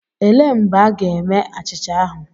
Elee mgbe a ga-eme achịcha ahụ?